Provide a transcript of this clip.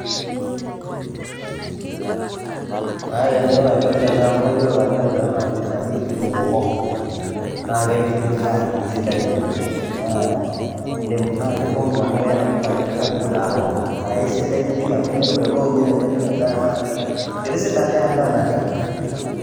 Kaata eng'eno naipirta ena amu kayiolo ajo ore ena naa enoshi naji kitunguu hoho naake epiki endaa sidai oleng'. Naa indim anaake itong'ua mau keeta entoki naji a good aroma naake sidai piii amu kemelok nye enipik endaa naake kitisidan endaa naleng'.